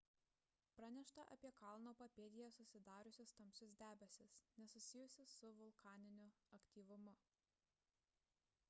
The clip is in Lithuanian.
pranešta apie kalno papėdėje susidariusius tamsius debesis nesusijusius su vulkaniniu aktyvumu